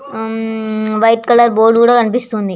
హం white colour board కూడా కనిపిస్తుంది.